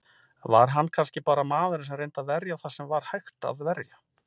Var hann kannski bara maðurinn sem reyndi að verja það sem var hægt að verja?